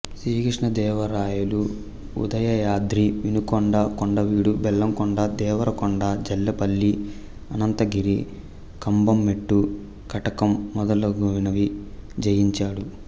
శ్రీకృష్ణదేవరాయలు ఉదయాద్రి వినుకొండ కొండవీడు బెల్లంకొండ దేవరకొండ జల్లేపల్లి అనంతగిరి కంబంమెట్టు కటకం మొదలగునవి జయించాడు